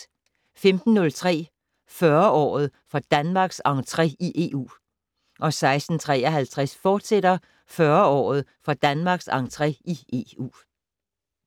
15:03: 40-året for Danmarks entré i EU 16:53: 40-året for Danmarks entré i EU, fortsat